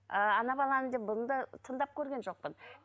ыыы ана баланы да бұны да тыңдап көрген жоқпын